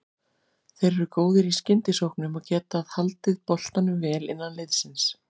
Þeir eru góðir í skyndisóknum og getað haldið boltanum vel innan liðsins.